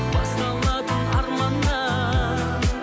басталатын арманнан